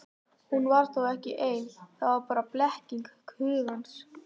Hún var þá ekki ein, það var bara blekking hugans.